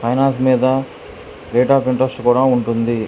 Finance మీద rate of interest కూడా ఉంటుంది.